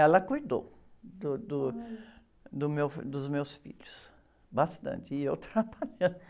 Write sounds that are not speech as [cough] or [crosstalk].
Ela cuidou do, do, do meu, dos meus filhos bastante, e eu trabalhando. [laughs]